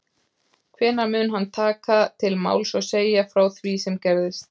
Hvenær mun hann taka til máls og segja frá því sem gerðist?